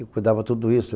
E cuidava tudo isso.